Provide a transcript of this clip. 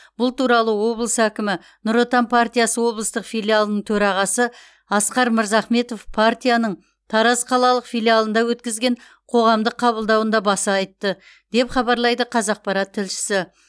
бұл туралы облыс әкімі нұр отан партиясы облыстық филиалының төрағасы асқар мырзахметов партияның тараз қалалық филиалында өткізген қоғамдық қабылдауында баса айтты деп хабарлайды қазақпарат тілшісі